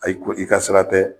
Ayi ko i ka sira tɛ